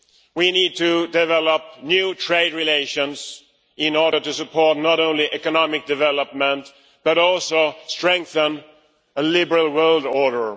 we need to develop new trade relations in order to support not only economic development, but also strengthen a liberal world order.